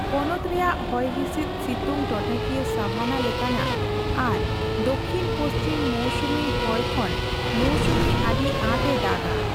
ᱯᱚᱱᱚᱛ ᱨᱮᱭᱟᱜ ᱦᱚᱭᱦᱤᱸᱥᱤᱫ ᱥᱤᱛᱩᱝ ᱴᱚᱴᱷᱟᱠᱤᱭᱟᱹ ᱥᱟᱵᱷᱟᱱᱟ ᱞᱮᱠᱟᱱᱟᱜ ᱟᱨ ᱫᱚᱠᱷᱤᱱ ᱯᱚᱪᱷᱤᱢ ᱢᱳᱣᱥᱩᱢᱤ ᱦᱳᱭ ᱠᱷᱚᱱ ᱢᱳᱣᱥᱩᱢᱤ ᱟᱹᱰᱤ ᱟᱸᱴᱮ ᱫᱟᱜᱼᱟ ᱾